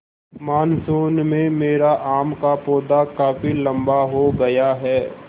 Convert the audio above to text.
monsoon में मेरा आम का पौधा काफी लम्बा हो गया है